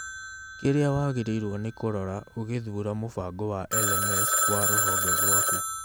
Kĩrĩa wagĩrĩirwo nĩ kũrora ũgĩthura mũbango wa LMS wa rũhonge rwaku